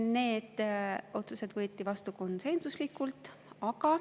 Need otsused võeti vastu konsensuslikult.